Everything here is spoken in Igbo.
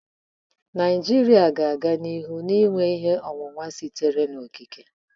Naijiria ga-aga n'ihu na-enwe ihe onwunwe sitere n'okike.